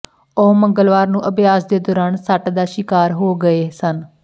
ਉਹ ਮੰਗਲਵਾਰ ਨੂੰ ਅਭਿਆਸ ਦੇ ਦੌਰਾਨ ਸੱਟ ਦਾ ਸ਼ਿਕਾਰ ਹੋ ਗਏ ਸਨ